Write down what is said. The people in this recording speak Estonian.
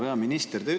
Härra peaminister!